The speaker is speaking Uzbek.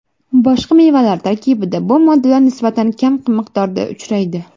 Boshqa mevalar tarkibida bu moddalar nisbatan kam miqdorda uchraydi.